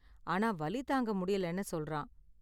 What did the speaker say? ஆனா, வலி தாங்க முடியலைன்னு சொல்றான்.